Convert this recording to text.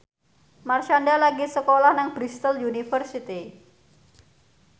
Marshanda lagi sekolah nang Bristol university